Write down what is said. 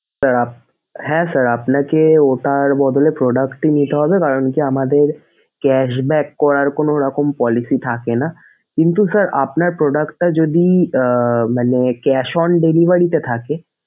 sir আপ হ্যাঁ sir আপনাকে ওটার বদলে product এ নিতে হবে কারনকি আমাদের cashback করার কোনোরকম policy থাকেনা কিন্তু sir আপনার product টা যদি আহ cash on delivery তে থাকে,